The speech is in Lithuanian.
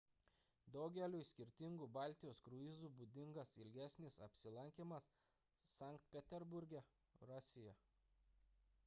daugeliui skirtingų baltijos kruizų būdingas ilgesnis apsilankymas sankt peterburge rusija